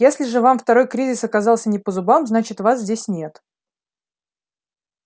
если же вам второй кризис оказался не по зубам значит вас здесь нет